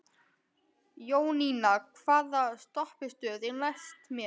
Jóninna, hvaða stoppistöð er næst mér?